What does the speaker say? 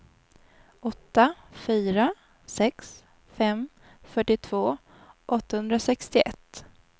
åtta fyra sex fem fyrtiotvå åttahundrasextioett